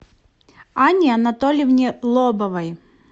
анне анатольевне лобовой